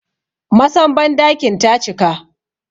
Masan bandakin ta cika